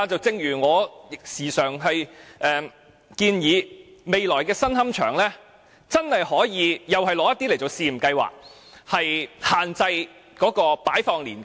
正如我經常建議在未來的新龕場，真的可以在部分地方進行試驗計劃，限制骨灰的擺放年期。